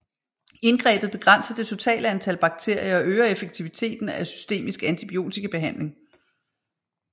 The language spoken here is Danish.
Indgrebet begrænser det totale antal bakterier og øger effektiviteten af systemisk antibiotikabehandling